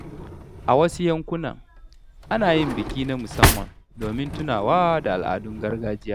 A wasu yankuna, ana yin biki na musamman domin tunawa da al’adun gargajiya.